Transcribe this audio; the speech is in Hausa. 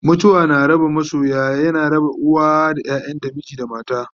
mutuwa na raba masoya, yana raba uwa da ƴaƴanta, miji da mata